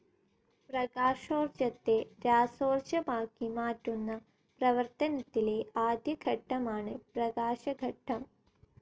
പ്രകാശോർജ്ജത്തെ രാസോർജ്ജമാക്കി മാറ്റുന്ന പ്രവർത്തനത്തിലെ ആദ്യ ഘട്ടമാണ് പ്രകാശഘട്ടം.